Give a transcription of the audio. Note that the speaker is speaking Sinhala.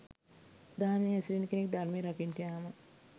දහමේ හැසිරෙන කෙනෙක් ධර්මය රකින්ටයෑම